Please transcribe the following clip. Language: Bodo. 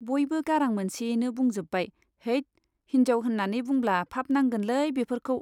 बयबो गारां मोनसेयैनो बुंजोब्बाय , हैत , हिन्जाव होन्नानै बुंब्ला पाप नांगोनलै बेफोरखौ।